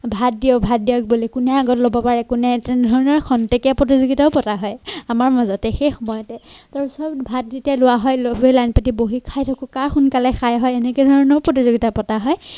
ভাত দিয়ক, ভাত দিয়ক বুলি কোনে আগত লব পাৰে কোনে তেনেধৰণৰ ক্ষন্তেকীয়া প্ৰতিযোগিতাও পতা হয় আমাৰ মাজতে সেই সময়তে ভাত যেতিয়া লোৱা হয় সকলোৱে লাইন পাতি বহি খাই থাকো কাৰ সোনকালে খাই হয় তেনেকে ধৰণৰ প্ৰতিযোগিতাও পতা হয়।